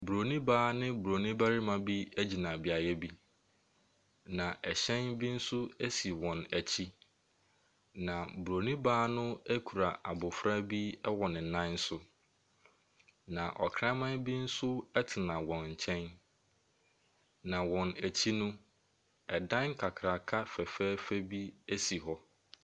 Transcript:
Buroni baa ne Buroni barima bi gyina beaeɛ bi. Na ɛhyɛn bi nso esi wɔn akyi. Na Buroni baa no kura abofra bi wɔ ne nan so. Na ɔkraman bi nso tena wɔn nkyɛn. Na wɔn akyi no, ɛdan kakraka fɛfɛɛfɛ bi si hɔ.